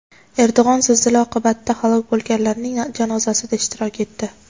Erdo‘g‘on zilzila oqibatida halok bo‘lganlarning janozasida ishtirok etdi.